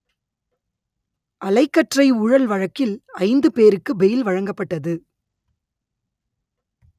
அலைக்கற்றை ஊழல் வழக்கில் ஐந்து பேருக்கு பெயில் வழங்கப்பட்டது